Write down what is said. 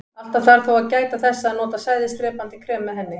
Alltaf þarf á þó að gæta þess að nota sæðisdrepandi krem með henni.